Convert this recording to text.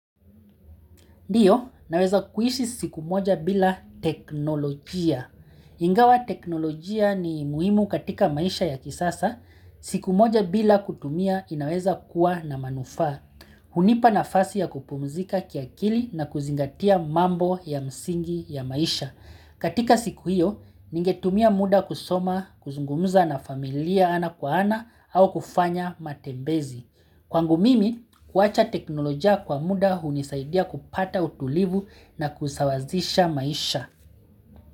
Ndiyo, naweza kuishi siku moja bila teknolojia. Ingawa teknolojia ni muhimu katika maisha ya kisasa. Siku moja bila kutumia inaweza kuwa na manufaa. Hunipa nafasi ya kupumzika kiakili na kuzingatia mambo ya msingi ya maisha. Katika siku hiyo, ningetumia muda kusoma, kuzungumuza na familia ana kwa ana au kufanya matembezi. Kwangu mimi, kuwacha teknolojia kwa muda hunisaidia kupata utulivu na kusawazisha maisha.